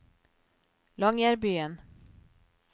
Longyearbyen